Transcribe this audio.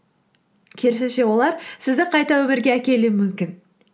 керісінше олар сізді қайта өмірге әкелуі мүмкін